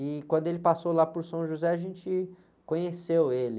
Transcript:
E quando ele passou lá por São José, a gente conheceu ele.